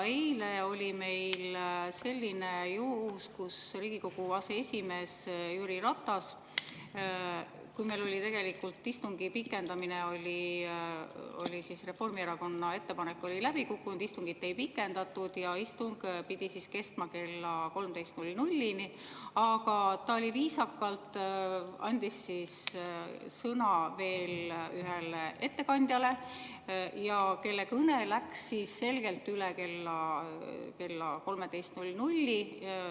Eile oli meil selline juhus, kui Riigikogu aseesimees Jüri Ratas – meil oli istungi pikendamine, Reformierakonna ettepanek oli läbi kukkunud, istungit ei pikendatud ja istung pidi kestma kella 13‑ni – viisakalt andis sõna veel ühele ettekandjale, kelle kõne läks selgelt üle kella 13.